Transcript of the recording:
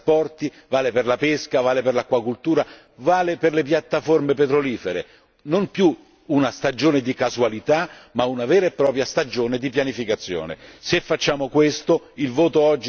Questo vale per il turismo, vale per i trasporti, vale per la pesca, vale per l'acquacoltura, vale per le piattaforme petrolifere non più una stagione di casualità, ma una vera e propria stagione di pianificazione.